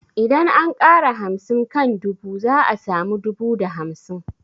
Idan an ƙara hamsin kan dubu za a samu dubu da hamsin